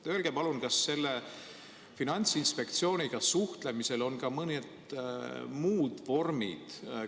Öelge palun, kas Finantsinspektsiooniga suhtlemiseks on ka mõned muud vormid?